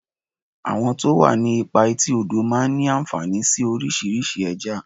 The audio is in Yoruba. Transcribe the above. Àwọn tó wà ní ipa etí odò máa ń ní ànfàní sí oríṣiríṣi Ẹja.